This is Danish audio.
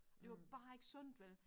Og det var bare ikke sundt vel